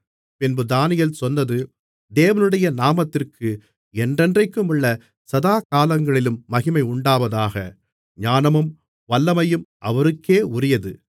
பின்பு தானியேல் சொன்னது தேவனுடைய நாமத்திற்கு என்றென்றைக்குமுள்ள சதாகாலங்களிலும் மகிமையுண்டாவதாக ஞானமும் வல்லமையும் அவருக்கே உரியது